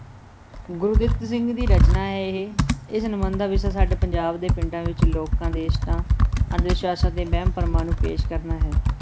ਗੁਰਦਿੱਤ ਸਿੰਘ ਦੀ ਰਚਨਾ ਹੈ ਇਹ, ਇਸ ਨਿਬੰਧ ਦਾ ਵਿਸ਼ਾ ਸਾਡੇ ਪੰਜਾਬ ਦੇ ਪਿੰਡਾਂ ਵਿਚ ਲੋਕਾਂ ਦੇ ਇਸ਼ਟਾਂ, ਅੰਧ-ਵਿਸ਼ਵਾਸਾਂ ਤੇ ਵਹਿਮ-ਭਰਮਾਂ ਨੂੰ ਪੇਸ਼ ਕਰਨਾ ਹੈ।